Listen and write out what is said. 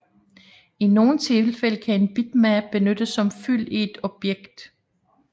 I nogle tilfælde kan en bitmap benyttes som fyld i et objekt